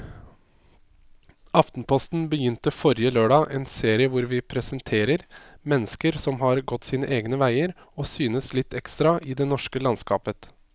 Aftenposten begynte forrige lørdag en serie hvor vi presenterer mennesker som har gått sine egne veier og synes litt ekstra i det norske landskapet.